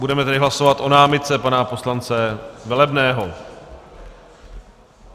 Budeme tedy hlasovat o námitce pana poslance Velebného.